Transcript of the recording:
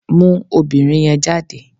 Mú obìnrin yẹn jáde